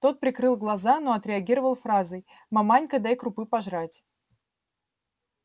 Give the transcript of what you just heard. тот прикрыл глаза но отреагировал фразой маманька дай крупы пожрать